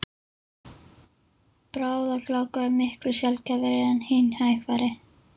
Bráðagláka er miklu sjaldgæfari en hin hægfara.